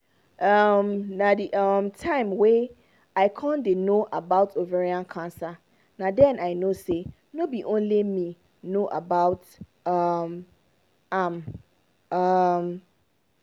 um na the um time wey i con dey no about ovarian cancer na den i know say no be only me no know about um am um